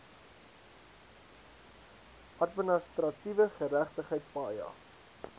administratiewe geregtigheid paja